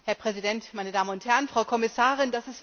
Herr Präsident, meine Damen und Herren, Frau Kommissarin!